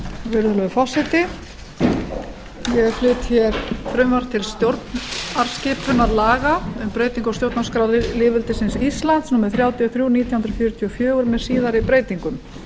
virðulegur forseti ég flyt frumvarp til stjórnarskipunarlaga um breytingu á stjórnarskrá lýðveldisins íslands númer þrjátíu og þrjú nítján hundruð fjörutíu og fjögur með síðari breytingum